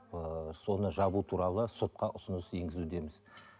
ыыы соны жабу туралы сотқа ұсыныс енгізудеміз